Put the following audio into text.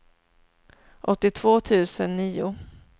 åttiotvå tusen nio